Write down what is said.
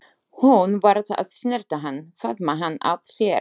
Hún varð að snerta hann, faðma hann að sér.